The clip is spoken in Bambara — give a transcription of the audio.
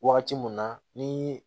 Wagati mun na ni